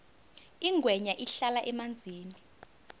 ingwenya ihlala emanzini